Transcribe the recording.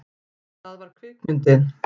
Það var kvikmyndin